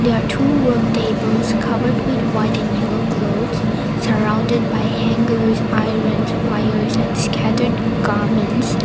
the two work tables covered with white and yellow clothes surrounded by hangers ironed wires and scattered garments.